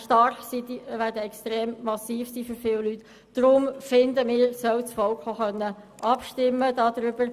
Wir finden deshalb, dass das Volk auch darüber abstimmen soll.